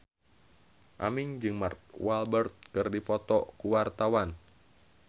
Aming jeung Mark Walberg keur dipoto ku wartawan